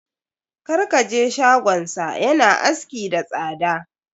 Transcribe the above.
Kar ka je shagonsa. Ya na aski da tsada.